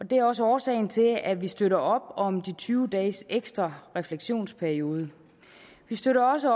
det er også årsagen til at vi støtter op om de tyve dages ekstra refleksionsperiode vi støtter også